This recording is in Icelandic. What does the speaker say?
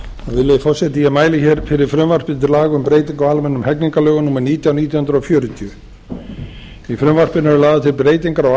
virðulegi forseti ég mæli fyrir frumvarpi til laga um breytingu á almennum hegningarlögum númer nítján nítján hundruð fjörutíu í frumvarpinu eru lagðar til breytingar á